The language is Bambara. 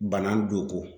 Bana don ko